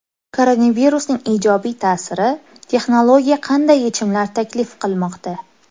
Koronavirusning ijobiy ta’siri: texnologiya qanday yechimlar taklif qilmoqda?